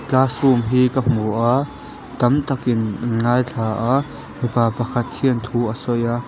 classroom hi ka hmu a tam takin an ngaithla a mipa pakhatin thu a sawi a.